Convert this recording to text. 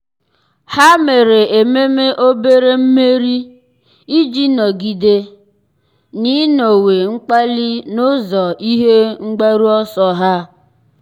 há mèrè ememe obere mmeri iji nọ́gídé n’ị́nọ́wé mkpali n’ụ́zọ́ ihe mgbaru ọsọ ha.